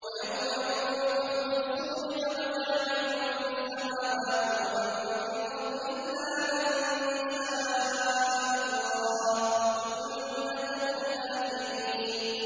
وَيَوْمَ يُنفَخُ فِي الصُّورِ فَفَزِعَ مَن فِي السَّمَاوَاتِ وَمَن فِي الْأَرْضِ إِلَّا مَن شَاءَ اللَّهُ ۚ وَكُلٌّ أَتَوْهُ دَاخِرِينَ